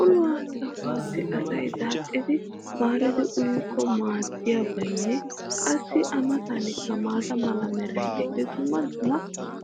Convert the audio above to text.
ulluwa sahuwaassi asay daaxxidi maaridi uyikko maadiyabaynne qassi a matankka maata mala meray diyo dumma dumma